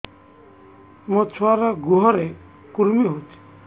ମୋ ଛୁଆର୍ ଗୁହରେ କୁର୍ମି ହଉଚି